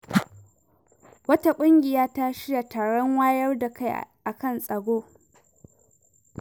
Wata ƙungiya ta shirya taron wayar da kai akan tsaro.